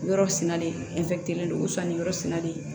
Yɔrɔ sinalen ni yɔrɔ sinalen